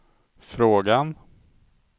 frågan